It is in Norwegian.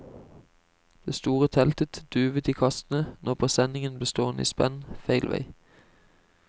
Det store teltet duvet i kastene når presenningen ble stående i spenn feil vei.